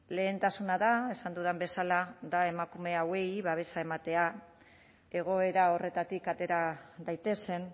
lehentasuna da esan dudan bezala emakume hauei babesa ematea egoera horretatik atera daitezen